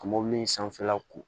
Ka mobili in sanfɛla ko